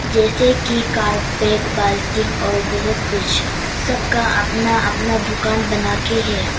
जैसे कि कारपेट बाल्टी और बहुत कुछ सबका अपना अपना दुकान बना के है।